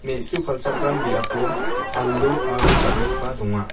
me·su palchakram biapo alu aro jal·ikba donga.